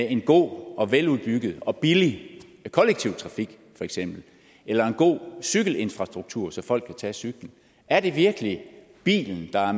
en god veludbygget og billig kollektiv trafik eller en god cykelinfrastruktur så folk kan tage cyklen er det virkelig bilen der er